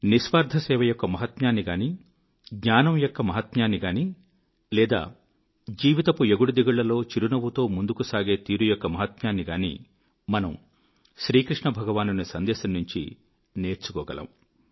నిస్వార్థ సేవ యొక్క మహత్యాన్ని గానీ జ్ఞానం యొక్క మహత్యాన్ని గానీ లేదా జీవితపు ఎగుడుదిగుళ్ళలో చిరునవ్వుతో ముందుకు సాగే తీరు యొక్క మహత్యాన్ని గానీ మనము శ్రీకృష్ణభగవానుని సందేశం నుంచి నేర్చుకోగలము